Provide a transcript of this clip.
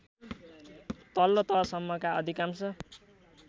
तल्लो तहसम्मका अधिकांश